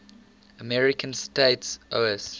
american states oas